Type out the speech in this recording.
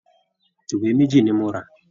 Ìwé méjì ni mo rà